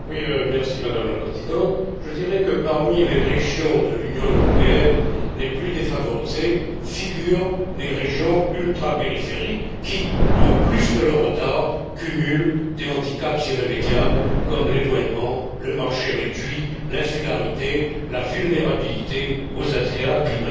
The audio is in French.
Madame la Présidente, je dirais que, parmi les régions de l'Union européenne les plus défavorisées, figurent les régions ultrapériphériques qui, en plus de leur retard, cumulent des handicaps irrémédiables, comme l'éloignement, le marché réduit, l'insularité, la vulnérabilité aux aléas climatiques.